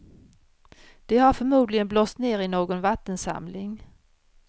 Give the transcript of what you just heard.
De har förmodligen blåst ner i någon vattensamling.